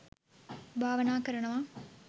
භාවනා කරනවා